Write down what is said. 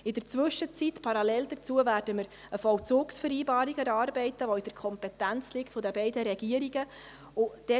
In der Zwischenzeit, parallel dazu, werden wir eine Vollzugsvereinbarung erarbeiten, welche in der Kompetenz der beiden Regierungen liegt.